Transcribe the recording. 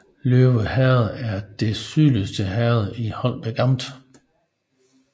Løve Herred er det sydligste herred i Holbæk Amt